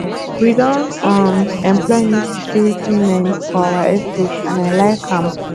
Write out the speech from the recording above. we don um employ new security men for our estate and i like am